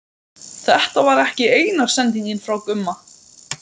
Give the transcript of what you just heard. Þetta var ekki eina sendingin frá Gumma.